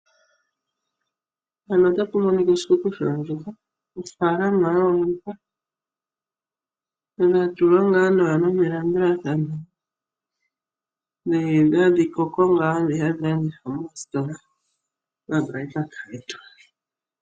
Oshikuku shoondjuhwa ofaalama yoondjuhwa dhatulwa nawa melandulathano ndhono hadhi koko nokulandithwa moositola omabraipaka.